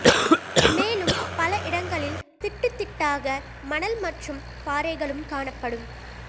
மேலும் பல இடங்களில் திட்டு திட்டாக மணல் மற்றும் பாறைகளும் காணப்படும்